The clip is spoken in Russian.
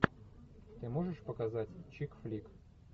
ты можешь показать чикфлик